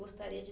Gostaria de